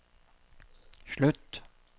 slutt